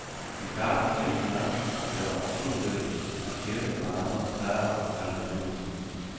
I starten mente mange, at det var underlødigt at stjæle fra andres plader og kalde det ny musik.